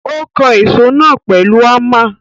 Ó kan èsó náà pèlu Hámà.